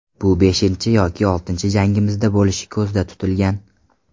Bu beshinchi yoki oltinchi jangimizda bo‘lishi ko‘zda tutilgan.